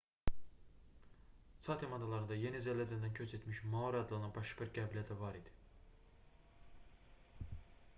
çatem adalarında yeni zelandiyadan köç etmiş maori adlanan başqa bir qəbilə də var idi